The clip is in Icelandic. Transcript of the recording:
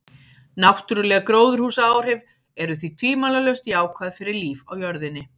Náttúruleg gróðurhúsaáhrif eru því tvímælalaust jákvæð fyrir líf á jörðinni.